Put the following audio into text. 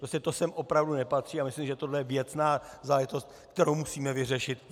Prostě to sem opravdu nepatří a myslím, že toto je věcná záležitost, kterou musíme vyřešit.